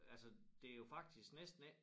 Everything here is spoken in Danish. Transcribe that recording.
Altså det jo faktisk næsten ikke